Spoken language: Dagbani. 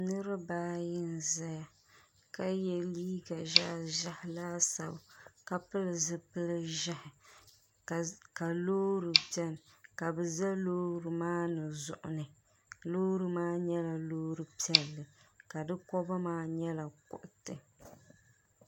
niriba ayi n-zaya ka ye liiga ʒehi ʒehi laasabu ka pili zupil'ʒehi ka loori beni ka bɛ za loori maa ni zuɣuni loori maa nyɛla loori piɛlli ka di koba maa nyɛla kuriti.